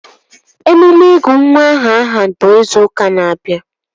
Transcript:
Emume ịgụ nwa aha ahụ bụ izu ụka na-abịa